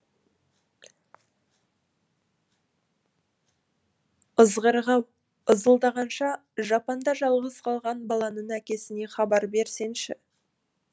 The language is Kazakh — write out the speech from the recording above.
ызғырық ау ызылдағанша жапанда жалғыз қалған баланың әкесіне хабар берсеңші